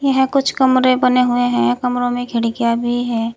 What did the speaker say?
कुछ कमरे बने हुए हैं कमरो में खिड़कियां भी है।